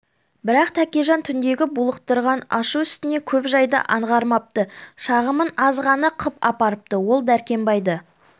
бірақ тәкежан түндегі булықтырған ашу үстінде көп жайды аңғармапты шағымын аз ғана қып апарыпты ол дәркембайды